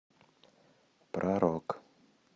про рок